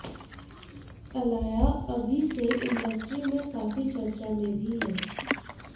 अलाया अभी से इंडस्ट्री में काफी चर्चा में भी हैं